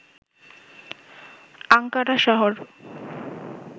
Ankara শহর